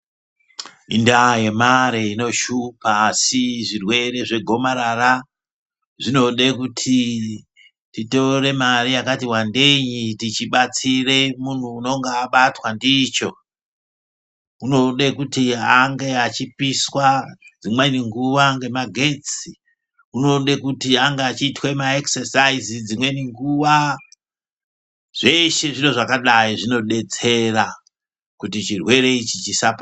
Indaa yemare inoshupa asi zvirwere zvegomarara zvinode kuti titore mare yakatiwandeyi tichibatsira muntu unonga abatwa ndicho. Unode kuti ange echipiswa dzimweni nguwa ngemagetsi unode kuti ange echiitwe maekisesaizi, dzimweni nguwa zveshe zviro zvakadai zvinodetsera kuti chirwere ichi chisapara.